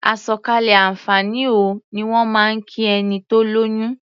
"Àsọ̀kalẹ̀ àǹfààní o" ni wọ́n máa ń kí ẹni tó lóyún.